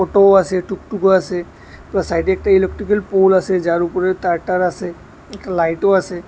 টো আসে টুকটুকও আসে প্লাস সাইডে একটি ইলেক্ট্রিকের পোল আসে যার উপরে তার টার আসে একটা লাইটও আসে।